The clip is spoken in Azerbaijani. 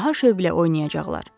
Daha şövqlə oynayacaqlar.